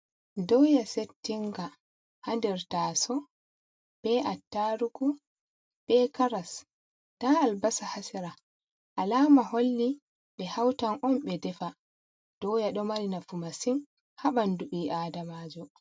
Ɗoya settinga ha nɗer tasou, be attarugu, ɓe Karas. Nɗa albasa ha sera. Alama holli ɓe hautan on ɓe ɗefa. Ɗoya ɗo mari nafu masin ha banɗu ɓi aɗamajo.